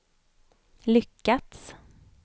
lyckats